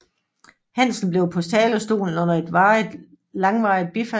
Hanssen på talerstolen under et langvarigt bifald